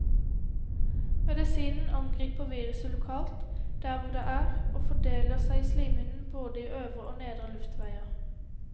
Medisinen angriper viruset lokalt, der hvor det er, og fordeler seg i slimhinnen både i øvre og nedre luftveier.